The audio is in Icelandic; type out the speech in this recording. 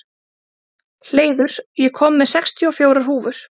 Hleiður, ég kom með sextíu og fjórar húfur!